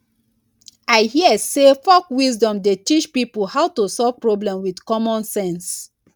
i hear sey folk wisdom dey teach pipo how to solve problem wit common sense.